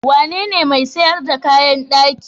Wanene mai sayar da kayan daki?